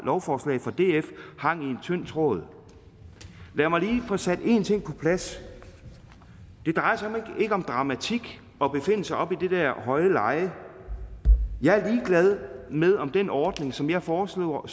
lovforslag fra df hang i en tynd tråd lad mig lige få sat en ting på plads det drejer sig ikke om dramatik at befinde sig oppe i det der høje leje jeg er ligeglad med om den ordning som jeg foreslår